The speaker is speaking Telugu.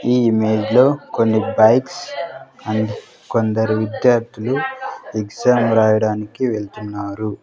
ఈ ఇమేజ్ లో కొన్ని బైక్స్ అండ్ కొందరు విద్యార్థులు ఎక్సామ్ రాయడానికి వెళ్తున్నారు.